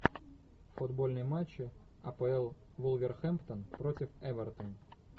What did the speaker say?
футбольные матчи апл вулверхэмптон против эвертон